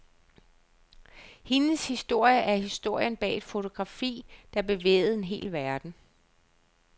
Hendes historie er historien bag et fotografi, der bevægede en hel verden.